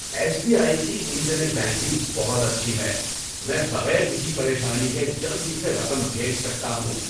S B I کی internet banking بہت اچھی ہے۔ میں بغیر کسی پریشانی کے جلدی سے رقم بھیج سکتا ہوں۔